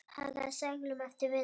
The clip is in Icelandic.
Hagaði seglum eftir vindi.